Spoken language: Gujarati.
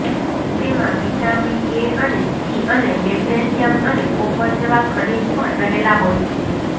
તેમાં વિટામીન એ અને સી અને મેગ્નેશિયમ અને કોપર જેવા ખનીજ પણ રહેલા હોય છે